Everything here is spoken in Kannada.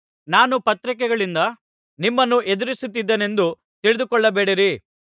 ನಾನು ಪತ್ರಿಕೆಗಳಿಂದ ನಿಮ್ಮನ್ನು ಹೆದರಿಸುತ್ತಿದ್ದೆನೆಂದು ತಿಳಿದುಕೊಳ್ಳಬೇಡಿರಿ